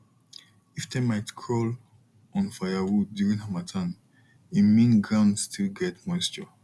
if termite crawl on firewood during harmattan e mean ground still get moisture